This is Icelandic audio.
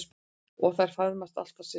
Og þær faðmast alltaf systurnar.